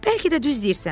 Bəlkə də düz deyirsən,